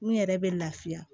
N yɛrɛ bɛ lafiya